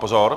Pozor -